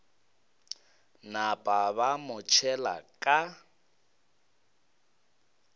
napa ba mo tšhela ka